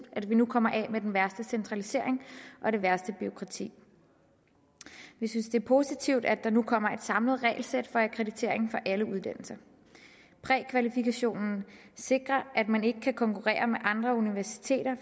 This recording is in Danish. at vi nu kommer af med den værste centralisering og det værste bureaukrati vi synes det er positivt at der nu kommer et samlet regelsæt for akkreditering for alle uddannelser prækvalifikationen sikrer at man ikke kan konkurrere med andre universiteter